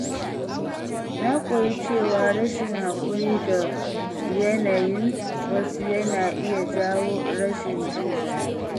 Na koyi cewa rashin haƙuri da yanayin wasu yana iya jawo rashin jin daɗi.